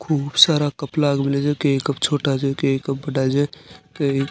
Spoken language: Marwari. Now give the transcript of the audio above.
खूब सारा कप लाग मेला से केय कप छोटा से केय कप बड़ा जे केय --